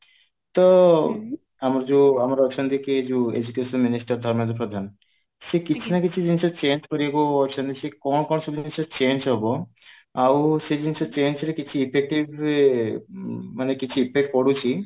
ତ ଆମର ଯୋଉ ଆମର ଅଛନ୍ତି କିଏ ଯୋଉ education minister ଧର୍ମେନ୍ଦ୍ର ପ୍ରଧାନ ସେ କିଛି ନା କିଛି ଜିନିଷ change କରିବାକୁ ଅଛନ୍ତି ସେ କଣ କଣ ସବୁ ଜିନିଷ change ହବ ଆଉ ସେ ଜିନିଷ change ରେ କିଛି effective ମାନେ କିଛି effect ପଡୁଛି